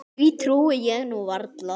Því trúi ég nú varla.